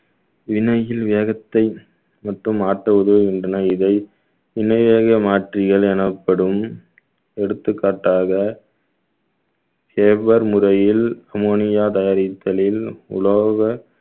வினையில் வேகத்தை மட்டும் ஆற்ற உதவுகின்றன இதை இணையாக மாற்றியல் எனப்படும் எடுத்துக்காட்டாக முறையில் ammonia தயாரித்தலில் உலோக